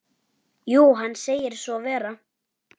Jú, hann segir svo vera.